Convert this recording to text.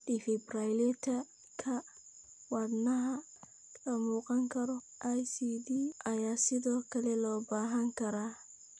Defibrillator-ka Wadnaha La-Muuqan Karo (ICD) ayaa sidoo kale loo baahan karaa.